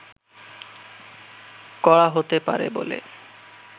করা হতে পারে বলে